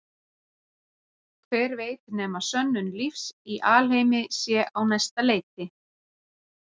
Hver veit nema sönnun lífs í alheimi sé á næsta leiti.